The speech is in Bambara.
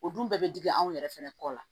O dun bɛɛ bɛ digi anw yɛrɛ fɛnɛ kɔ la